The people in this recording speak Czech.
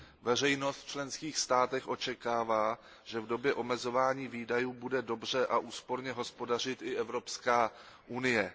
Veřejnost v členských státech očekává, že v době omezování výdajů bude dobře a úsporně hospodařit i Evropská unie.